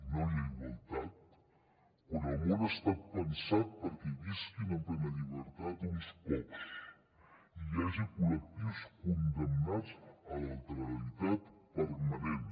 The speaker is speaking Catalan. no hi ha igualtat quan el món ha estat pensat perquè visquin en plena llibertat uns pocs i hi hagi col·lectius condemnats a l’alteralitat permanent